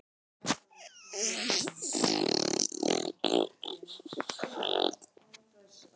Ég yrði að hátta strax eftir kvöldmat þangað til ég játaði.